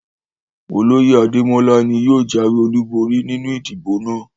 Oloye Ademola ni yóò jawe olubori ninu idibo naa